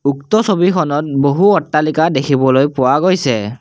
উক্ত ছবিখনত বহু অট্টালিকা দেখিব পোৱা গৈছে।